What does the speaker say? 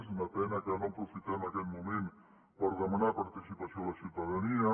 és una pena que no aprofitem aquest moment per demanar participació a la ciutadania